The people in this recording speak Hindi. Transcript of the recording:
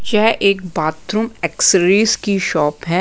यह एक बाथरूम एक्सरेज की शॉप हैं।